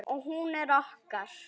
Og hún er okkar.